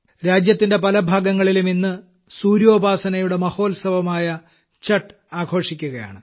രാജ്യത്തിന്റെ പല ഭാഗങ്ങളിലും ഇന്ന് സൂര്യോപാസനയുടെ മഹോത്സവമായ ഛഠ് ആഘോഷിക്കുകയാണ്